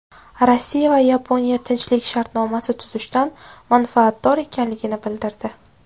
Rossiya va Yaponiya tinchlik shartnomasi tuzishdan manfaatdor ekanligini bildirdi.